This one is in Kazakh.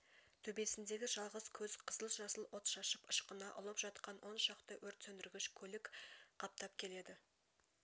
төбесіндегі жалғыз көз қызыл-жасыл от шашып ышқына ұлып жақтан оншақты өрт сөндіргіш көлік қаптап келеді